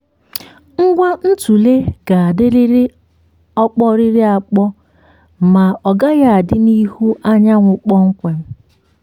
ngwa ntule ga-adịrịrị akpọrịrị akpọ ma ọgaghị adị n’ihu anyanwụ kpọmkwem.